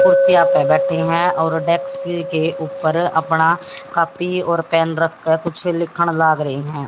कुर्सियां पे बैठी हैं और डेस्क के ऊपर अपणा कॉपी और पेन रख कर कुछ लिखन लाग रही हैं।